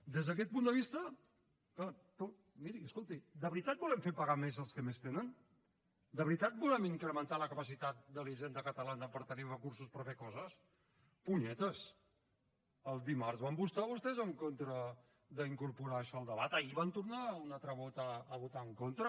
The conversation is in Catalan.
des d’aquest punt de vista clar miri escolti de veritat volem fer pagar més als que més tenen de veritat volem incrementar la capacitat de la hisenda catalana per tenir recursos per fer coses punyetes dimarts van votar vostès en contra d’incorporar això al debat ahir van tornar un altre cop a votar hi en contra